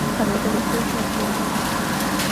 олега викторовича васильева